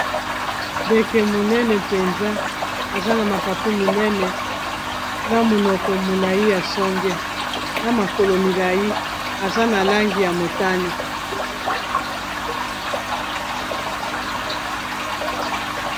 Ndeke monene mpenza. Aza na mapapu minene, na monoko molai ya songe ; na makolo milai. Aza na langi ya motane.